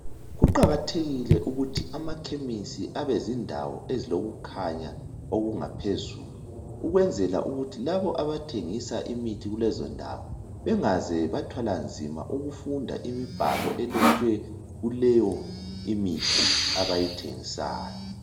Kuqakathekile ukuthi amakhemisi abezindawo ezilokukhanya okungaphezulu, ukwenzela ukuthi labo abathengisa imithi kulezondawo, bengaze bathwala nzima ukufunda imbhalo elotshwe kuleyo mithi abayithengisayo.